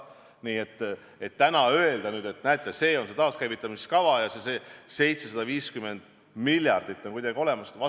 Nii et täna öelda, et näete, see on see taaskäivitamiskava ja see 750 miljardit on kuidagi olemas, ei saa.